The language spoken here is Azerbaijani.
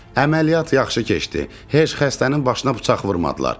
Əməliyyat yaxşı keçdi, heç xəstənin başına bıçaq vurmadılar.